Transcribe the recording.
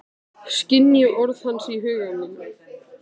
Skynji orð hans í huga mínum.